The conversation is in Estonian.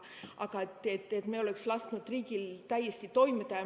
Aga et me oleksime lasknud riigil täiesti toimida ...